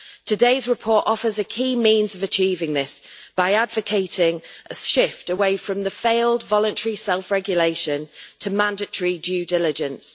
Today's report offers a key means of achieving this by advocating a shift away from the failed voluntary self-regulation to mandatory due diligence.